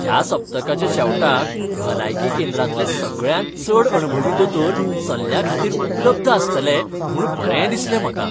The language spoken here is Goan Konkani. ह्या सप्तकाच्या शेवटाक भलायकी केंद्रांतले सगळ्यांत चड अणभवी दोतोर सल्ल्याखातीर उपलब्ध आसतले म्हूण बरें दिसलें म्हाका.